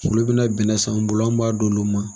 Olu bɛna bɛnnɛ s'anw bolo an b'a d'olu ma